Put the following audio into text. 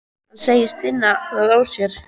Hann segist finna það á sér.